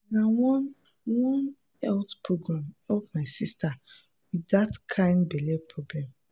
na one one health program help my sister with that kind belly problem.